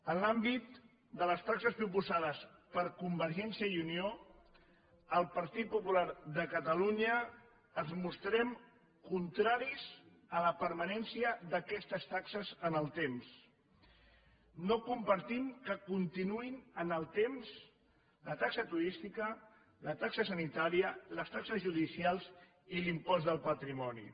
en l’àmbit de les taxes proposades per convergència i unió el partit popular de catalunya ens mostrem contraris a la permanència d’aquestes taxes en el temps no compartim que continuïn en el temps la taxa turística la taxa sanitària les taxes judicials i l’impost del patrimoni